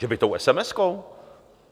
Že by tou esemeskou?